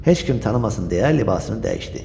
Heç kim tanımasın deyə libasını dəyişdi.